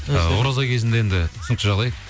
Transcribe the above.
ы ораза кезінде енді түсінікті жағдай